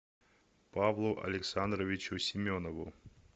павлу александровичу семенову